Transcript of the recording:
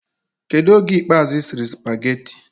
Kedu oge ikpe azu isiri spagehtte